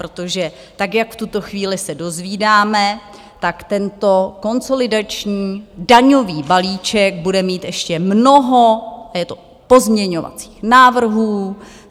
Protože tak, jak v tuto chvíli se dozvídáme, tak tento konsolidační daňový balíček bude mít ještě mnoho pozměňovacích návrhů.